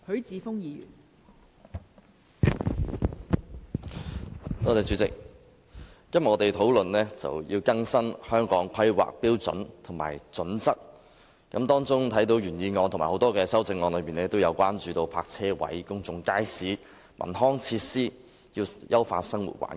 代理主席，今天我們討論更新《香港規劃標準與準則》，有關的原議案及多項修正案都提出要增加泊車位、公眾街市及文康設施，以優化生活環境。